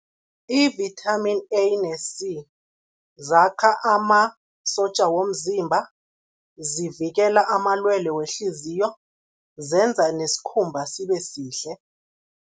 I-Vitamin A ne C, zakha amasotja womzimba, zivikela amalwelwe wehliziyo, zenza nesikhumba sibe sihle.